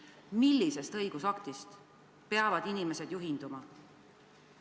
Millisest õigusaktist peavad inimesed juhinduma?